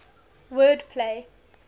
word play